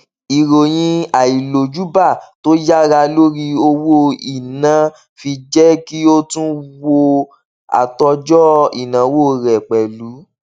ìròyìn àìlójúbà tó yára lórí owó ina fi jẹ kí ó tún wò àtòjọ ináwó rẹ pẹlú